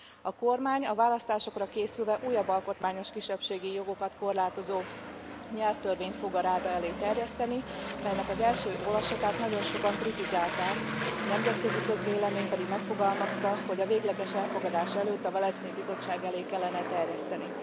A kormány a választásokra készülve újabb alkotmányos kisebbségi jogokat korlátozó nyelvtörvényt fog a Ráda elé terjeszteni, melynek az első olvasatát nagyon sokan kritizálták, a nemzetközi közvélemény pedig megfogalmazta, hogy a végleges elfogadás előtt a Velencei Bizottság elé kellene terjeszteni.